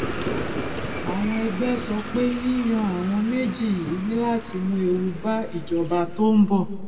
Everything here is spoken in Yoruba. àwọn ẹgbẹ sọ pé yíyan àwọn méjì yìí ní láti mú ewu bá ìjọba tó ń bọ